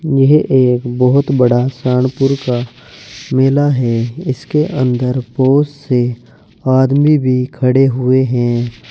यह एक बहुत बड़ा सहारनपुर का मेला है इसके अंदर बहुत से आदमी भी खड़े हुए हैं।